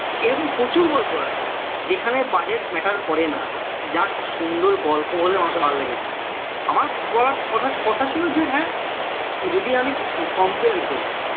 এরকম প্রচুর গল্প আছে যেখানে budget matter করে না just সুন্দর গল্প হলে মানুষের ভালো লেগে যায় আমার বলার কথা কথা ছিল যে হ্যাঁ যদি আমি compare করি